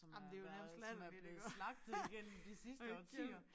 Som er været som er blevet slagtet igennem de sidste årtier